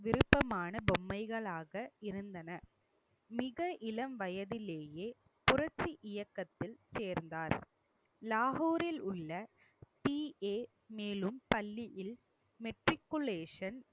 விருப்பமான பொம்மைகளாக இருந்தன மிக இளம் வயதிலேயே புரட்சி இயக்கத்தில் சேர்ந்தார். லாகூர் இல் உள்ள PA மேலும் பள்ளியில் matriculation